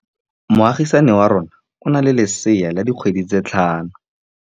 Moagisane wa rona o na le lesea la dikgwedi tse tlhano.